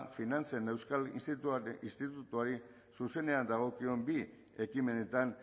finantzen euskal institutuari zuzenean dagokion bi ekimenetan